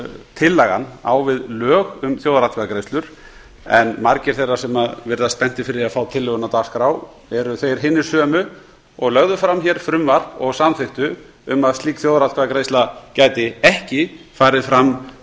tillagan á við lög um þjóðaratkvæðagreiðslur en margir þeirra sem virðast spenntir fyrir því að fá tillöguna á dagskrá eru þeir hinir sömu og lögðu hér fram frumvarp og samþykktu um að slík þjóðaratkvæðagreiðsla gæti ekki farið fram